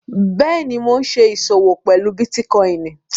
Bẹ́ẹ̀ni, ḿó ṣè iṣọwọ̀ pẹ̀lú Bitikòinì.